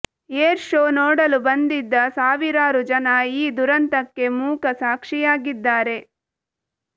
air show ನೋಡಲು ಬಂದಿದ್ದ ಸಾವಿರಾರು ಜನ ಈ ದುರಂತಕ್ಕೆ ಮೂಕ ಸಾಕ್ಷಿಯಾಗಿದ್ದಾರೆ